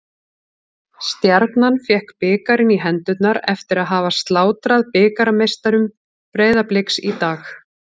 Stjarnan fékk bikarinn í hendurnar eftir að hafa slátrað bikarmeisturum Breiðabliks í dag.